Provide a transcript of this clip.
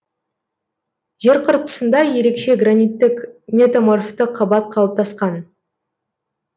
жер қыртысында ерекше граниттік метаморфты қабат қалыптасқан